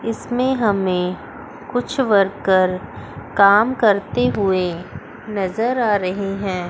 इसमें हमें कुछ वर्कर काम करते हुए नजर आ रहे हैं।